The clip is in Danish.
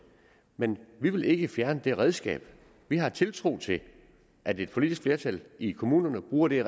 men vi vil ikke fjerne det redskab vi har tiltro til at et politisk flertal i kommunerne bruger det